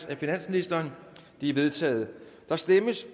af finansministeren de er vedtaget der stemmes